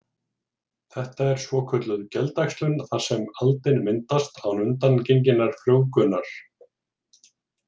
Þetta er svokölluð geldæxlun þar sem aldin myndast án undangenginnar frjóvgunar.